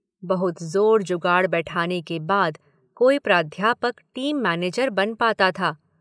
बहुत जोर-जुगाड़ बैठाने के बाद कोई प्राध्यापक टीम मैनेजर बन पाता था।